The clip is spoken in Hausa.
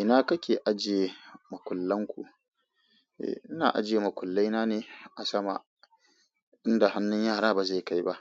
Ina kake ajiye makullan ku? Ina ajiye makullai nane asama inda hannun yara ba zai kai ba.